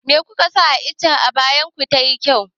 Me kuka sa ma iccen ayaban ku tayi kyau?